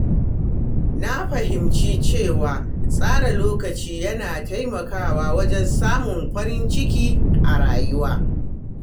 Na fahimci cewa tsara lokaci yana taimakawa wajen samun farin ciki a rayuwa.